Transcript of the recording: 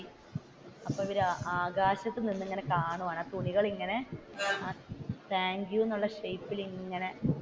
അപ്പൊ ഇവർ ആകാശത്തു നിന്ന് ഇങ്ങനെ കാണുവാണ് തുണികൾ ഇങ്ങനെ താങ്ക്യൂ എന്ന് ഉള്ള ഷയിപ്പി ൽ ഇങ്ങനെ